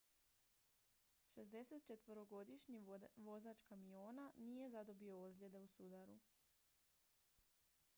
64-godišnji vozač kamiona nije zadobio ozljede u sudaru